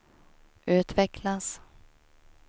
utvecklas